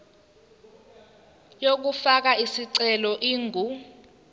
yokufaka isicelo ingu